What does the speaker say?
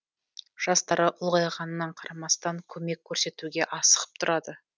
жастары ұлғайғанына қарамастан көмек көрсетуге асығып тұрады